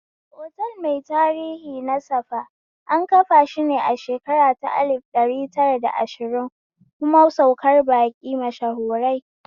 Otal mai tarihi na safa, an kafashi ne a shekara ta lif ɗari tara da ashiri kuma saukar baƙi mashahurai